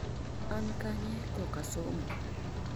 an kanye koka somo?